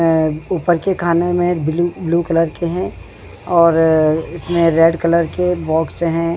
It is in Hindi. अअअ ऊपर के खाने में ब्लू ब्लू कलर के हैं और इसमें रेड कलर के बॉक्स हैं।